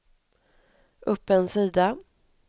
upp en sida